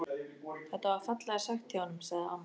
Þetta var fallega sagt hjá honum sagði amma.